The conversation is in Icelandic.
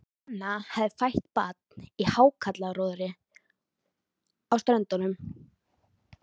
Kona hafði fætt barn í hákarlaróðri á Ströndum.